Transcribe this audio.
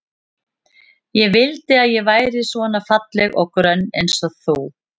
Ég vildi að ég væri svona falleg og grönn eins og þú.